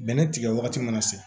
Bɛnɛ tigɛ wagati mana se